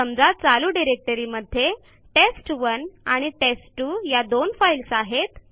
समजा चालू डिरेक्टरी मध्ये टेस्ट1 आणि टेस्ट2 या दोन फाईल्स आहेत